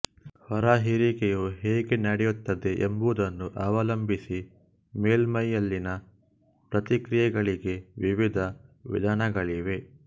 ಹೊರಹೀರಿಕೆಯು ಹೇಗೆ ನಡೆಯುತ್ತದೆ ಎಂಬುದನ್ನು ಅವಲಂಬಿಸಿ ಮೇಲ್ಮೈಯಲ್ಲಿನ ಪ್ರತಿಕ್ರಿಯೆಗಳಿಗೆ ವಿವಿಧ ವಿಧಾನಗಳಿವೆ